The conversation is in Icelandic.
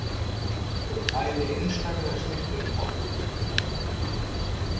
Þetta eru bæði einstaklega snyrtileg morð.